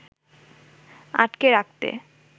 আটকে রাখতে